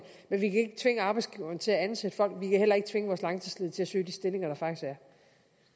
men vi kan ikke tvinge arbejdsgiverne til at ansætte folk kan heller ikke tvinge vores langtidsledige til at søge de stillinger